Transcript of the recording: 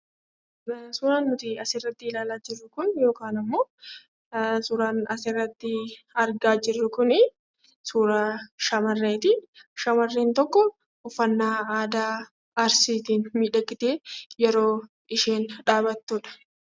Suuraan nuti asiin gaditti ilaalaa jirru kun yookaan immoo suuraan asiin gaditti argaa jirru kun suura shamarreeti. Shamarreen tokko uffannaa aadaa Arsiitiin miidhagdee yeroo isheen dhaabattudha.